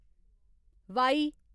Y